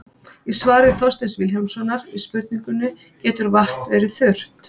Í svari Þorsteins Vilhjálmssonar við spurningunni Getur vatn verið þurrt?